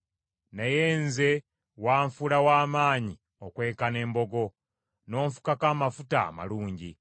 Naye nze wanfuula wa maanyi okwenkana embogo, n’onfukako amafuta amalungi.